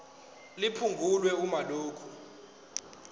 liphungulwe uma lokhu